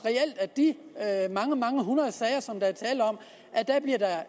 at mange mange hundrede sager som der er tale om